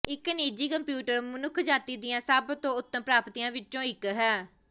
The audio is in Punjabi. ਇੱਕ ਨਿੱਜੀ ਕੰਪਿਊਟਰ ਮਨੁੱਖਜਾਤੀ ਦੀਆਂ ਸਭ ਤੋਂ ਉੱਤਮ ਪ੍ਰਾਪਤੀਆਂ ਵਿੱਚੋਂ ਇੱਕ ਹੈ